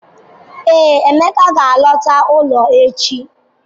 Ee, Emeka ga-alọta ụlọ echi.